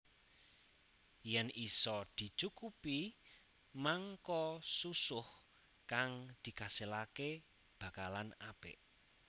Yèn isa dicukupi mangka susuh kang dikaselaké bakalan apik